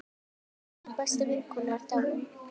Mín besta vinkona er dáin.